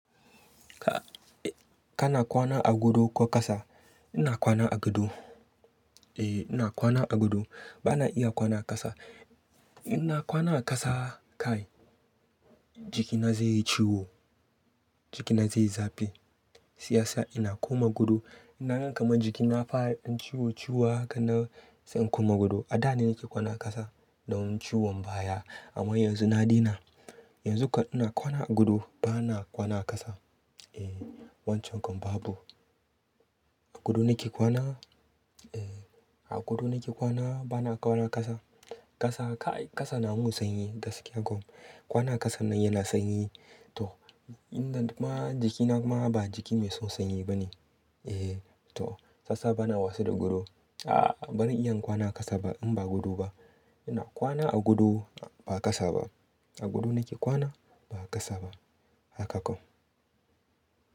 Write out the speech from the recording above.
Ka, eh kana kwana a godo ko ƙasa? Ina kwana a gado. Eh ina kwana a godo. Bana iya kwana a ƙasa. Ina kwana a ƙasa kai jikina zai yi ciwo, jikina zai yi zafi. Siyasa ina koma godo. Inna gan kaman jikina ya fara ɗan ciwo ciwo hakan nan sai in koma godo. A daje nake kwana ƙasa don ciwon baya amma yanzu na daina. Yanzu kam ina kwana a godo bana kwana ƙasa. Eh wancan kam babu. A gado nake kwana. Eh a gado nake kwana bana kwana ƙasa. Ƙasa kai ƙasa na mun sanyi gaskiya ko. Kwana ƙasan nan yana sanyi. To inda ma jikina kuma ba jiki mai son sanyi bane. Eh to sassa bana wasa da godo. A'a ran iya kwana ƙasa ba in ba godo ba. Ina kwana a godo ba ƙasa ba. A gado nake kwana ba ƙasa ba. Haka kom.